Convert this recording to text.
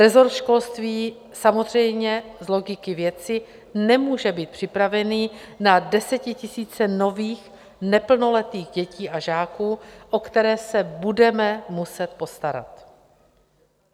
Resort školství samozřejmě z logiky věci nemůže být připraven na desetitisíce nových neplnoletých dětí a žáků, o které se budeme muset postarat.